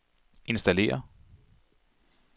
installere